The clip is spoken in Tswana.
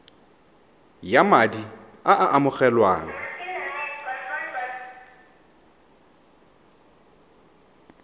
ya madi a a amogelwang